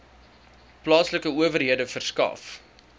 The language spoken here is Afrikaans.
plaaslike owerhede verskaf